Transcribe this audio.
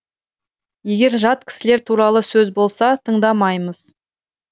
егер жат кісілер туралы сөз болса тыңдамаймыз